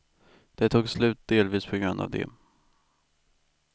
Det tog slut delvis på grund av det.